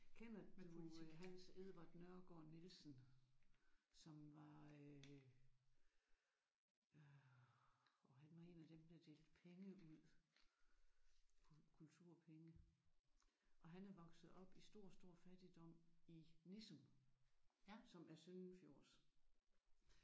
Kender du Hans Edvard Nørregaard Nielsen som var øh åh han var en af dem der delte penge ud kulturpenge og han er vokset op i stor stor fattigdom i Nissum som er søndenfjords